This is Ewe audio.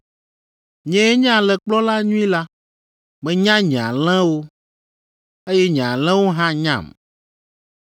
“Nyee nye alẽkplɔla nyui la. Menya nye alẽwo, eye nye alẽwo hã nyam,